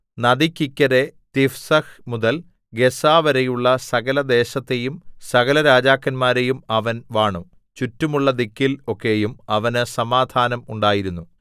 നദിക്ക് ഇക്കരെ തിഫ്സഹ് മുതൽ ഗസ്സാവരെയുള്ള സകല ദേശത്തെയും സകല രാജാക്കന്മാരെയും അവൻ വാണു ചുറ്റുമുള്ള ദിക്കിൽ ഒക്കെയും അവന് സമാധാനം ഉണ്ടായിരുന്നു